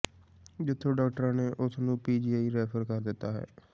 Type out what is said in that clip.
ਜਿਥੋਂ ਡਾਕਟਰਾਂ ਨੇ ਉਸ ਨੂੰ ਪੀਜੀਆਈ ਰੈਫ਼ਰ ਕਰ ਦਿੱਤਾ ਹੈ